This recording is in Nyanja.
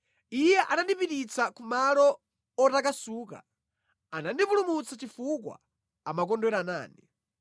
Iye anandipititsa kumalo otakasuka; anandipulumutsa chifukwa amakondwera nane.